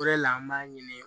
O de la an b'a ɲini